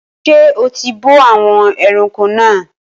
Ṣé o ti bọ́ àwọn ẹranko náà?